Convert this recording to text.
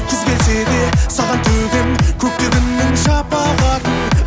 күз келсе де саған төгем көкте күннің шапағатын